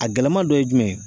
A gɛlɛma dɔ ye jumɛn ye.